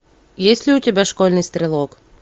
есть ли у тебя школьный стрелок